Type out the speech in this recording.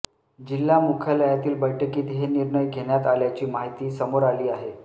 जिल्हा मुख्यालयातील बैठकीत हे निर्णय घेण्यात आल्याची माहिती समोर आली आहे